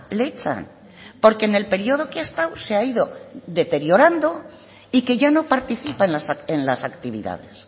le echan porque en el periodo que ha estado se ha ido deteriorando y que ya no participa en las actividades